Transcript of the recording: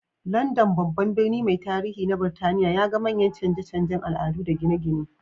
London, babban birni mai tarihi na Burtaniya, ya ga manyan canje-canjen al'adu da gine-gine.